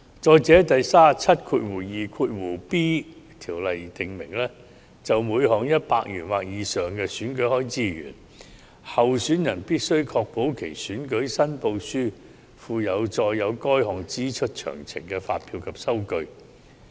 再者，第 372b 條訂明，就每項100元或以上的選舉開支而言，候選人必須確保其選舉申報書附有載有該項支出詳情的發票及收據。